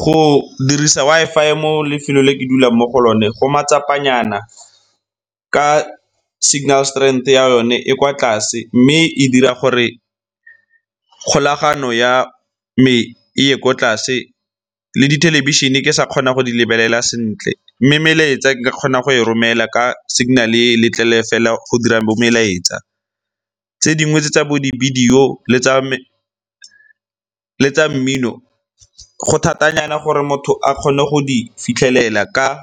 Go dirisa Wi-Fi mo lefelong le ke dulang mo go lone go matsapa nyana ka signal strength ya yone e e kwa tlase mme e dira gore kgolagano ya me e ye kwa tlase le dithelebišene ke sa kgona go di lebelela sentle. Mme melaetsa nka kgona go e romela ka signal-e le letlele fela go dirang bo melaetsa. Tse dingwe tse tsa bo dibidio le tsa mmino go thata nyana gore motho a kgone go di fitlhelela ka